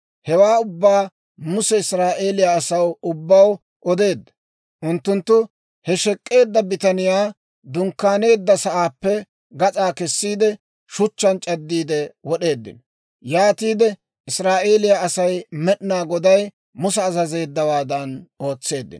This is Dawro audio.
Hewaa ubbaa Muse Israa'eeliyaa asaw ubbaw odeedda; unttunttu he shek'k'eedda bitaniyaa dunkkaaneedda sa'aappe gas'aa kessiide, shuchchaan c'addiide wod'eeddino. Yaatiide Israa'eeliyaa Asay Med'inaa Goday Musa azazeeddawaadan ootseeddino.